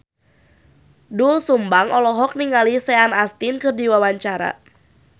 Doel Sumbang olohok ningali Sean Astin keur diwawancara